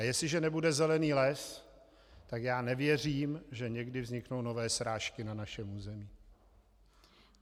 A jestliže nebude zelený les, tak já nevěřím, že někdy vzniknou nové srážky na našem území.